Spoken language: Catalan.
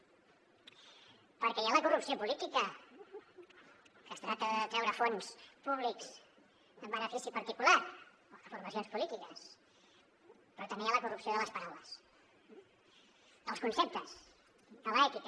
perquè hi ha la corrupció política que tracta de treure fons públics en benefici particular o de formacions polítiques però també hi ha la corrupció de les paraules dels conceptes de l’ètica